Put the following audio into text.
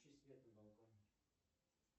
включи свет на балконе